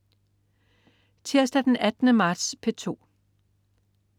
Tirsdag den 18. marts - P2: